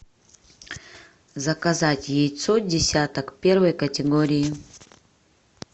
заказать яйцо десяток первой категории